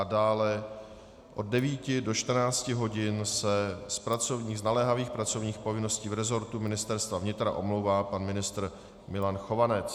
A dále od 9 do 14 hodin se z naléhavých pracovních povinností v resortu Ministerstva vnitra omlouvá pan ministr Milan Chovanec.